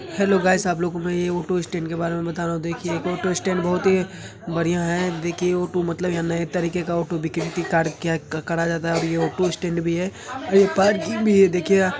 hello guys आप लोग को में ऑटो स्टैंड के बारे में बता रहा हूँ देखिये ऑटो स्टैंड बहोत ही बढ़िया है देखिये ऑटो मतलब यह नए तरिके का ऑटो कया करा जाता है और ये ऑटो स्टैंड भी है और ये पार्किंग भी है देखिए आप --